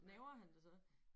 Gnaver han det så?